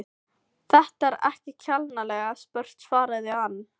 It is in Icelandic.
Þetta er ekki kjánalega spurt svaraði hann.